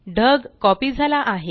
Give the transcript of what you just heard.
ढग कॉपी झाला आहे